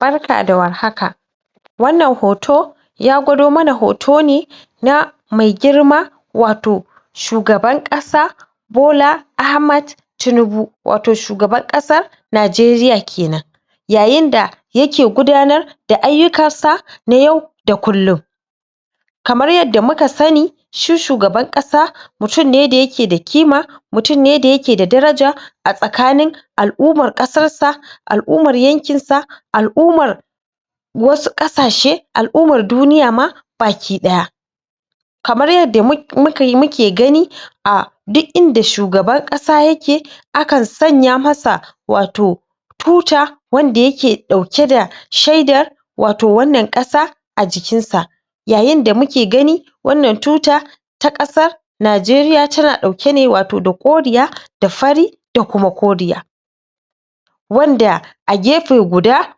Barka da warhaka wannan hoto ya gwado mana hoto ne na mai girma wato shugaban ƙasa Bola Ahmad Tinubu wato shugaban ƙasa Najeriya kenan yayin da yake gudanar da ayyukan sa na yau da kullun kamar yadda muka sani shi shugaban ƙasa mutun ne da yake da kima, mutun ne da yake da daraja a tsakanin al'ummar ƙasan sa, al'ummar yankin sa, alummar wasu ƙasashe, al'ummar duniya ma bakiɗaya kamar yadda muke gani a duk inda shugaban ƙasa yake akan sanya masa wato tuta wanda yake ɗauke da shaidar wato wannan ƙasa a cikin sa yayin da muke gani wannan tuta ta ƙasa Najeriya tana ɗauke ne wato da koriya da fari da kuma koriya wanda a gefe guda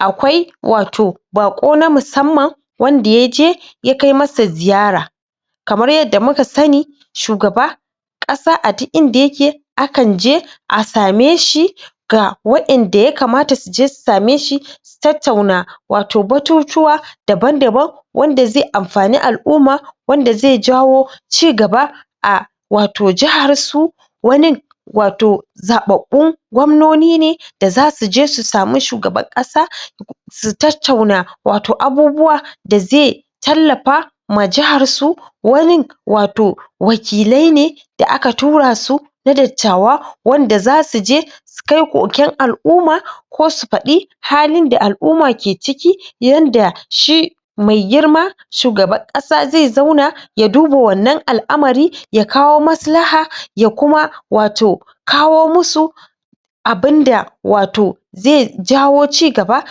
akwai wato baƙo na musamman wanda yaje ya kai masa ziyara kamar yadda muka sani shugaba ƙasa a duk inda yake akan je a same shi ga waƴanda yakamata suje su same shi su tattauna wato batutuwa daban-daban wanda ze amfani al'umma, wanda ze jawo cigaba a wato jahar su wanin wato zaɓaɓɓun gwamnoni ne da zasu je su samu shugaban ƙasa su tattauna wato abubuwa da ze tallafa ma jahar su wanin wato wakilai ne da aka tura su na dattawa wanda zasu je su kai koken al'umma ko su faɗi halin da al'umma ke ciki yadda shi me girma shugaban ƙasa ze zauna ya duba wannan al'amari ya kawo maslaha ya kuma wato kawo musu abinda wato ze jawo cigaba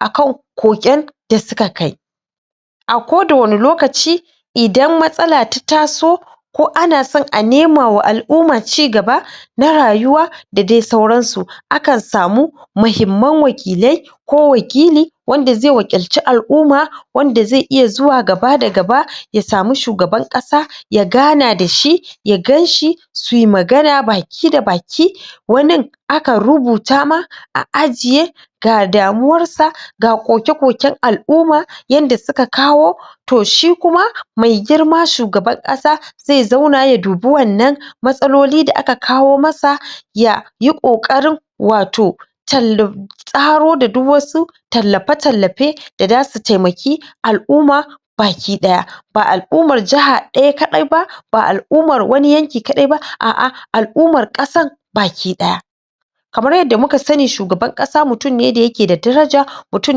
akan koken da suka kai a koda wani lokaci idan matsala ta taso ko ana son a nema wa al'umma cigaba na rayuwa da dai sauran su akan samu mahimman wakilai ko wakili wanda zai wakilci al'umma wanda ze iya zuwa gaba da gaba ya samu shugaban ƙasa ya gana da shi, ya gan shi su yi magana baki da baki wanin akan rubuta ma a ajiye ga damuwar sa, ga koke-koken al'umma yanda suka kawo to shi kuma me girma shugaban ƙasa ze zauna ya dubi wannan matsaloli da aka kawo masa ya yi ƙoƙarin wato tallo tsaro da duk wasu tallafe-tallafe da zasu taimaki al'umma bakiɗaya ba al'ummar jaha ɗaya kaɗai ba ba al'ummar wani yanki kaɗai ba a'a al'ummar ƙasan bakiɗaya kamar yadda muka sani shugaban ƙasa mutun ne da yake da daraja mutun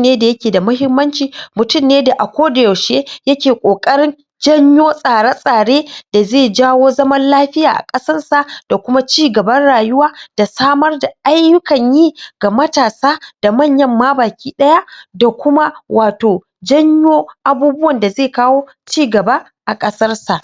ne da yake da mahimmanci, mutun ne da a kodayaushe yake ƙoƙarin janyo tsare-tsare da ze jawo zaman lafiya a ƙasar sa da kuma cigaban rayuwa da samar da ayyukan yi ga matasa bakiɗaya da kuma wato janyo abubuwan da ze kawo cigaba a ƙasar sa.